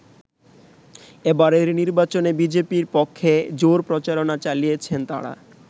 এবারের নির্বাচনে বিজেপির পক্ষে জোর প্রচারণা চালিয়েছেন তারা।